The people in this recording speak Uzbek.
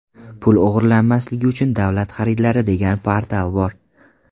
Pul o‘g‘irlanmasligi uchun davlat xaridlari degan portal bor.